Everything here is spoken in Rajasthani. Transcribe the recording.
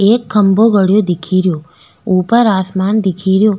एक खम्भों गडो दिखेरो ऊपर आसमान दिखेरो।